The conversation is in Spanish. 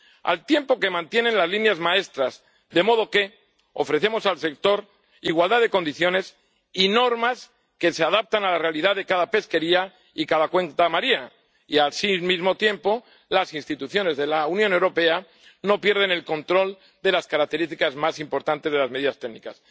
al tiempo que mantiene las líneas maestras, de modo que ofrecemos al sector igualdad de condiciones y normas que se adaptan a la realidad de cada pesquería y cada cuenca marina, y así, al mismo tiempo, las instituciones de la Unión Europea no pierden el control de las características más importantes de las medidas técnicas.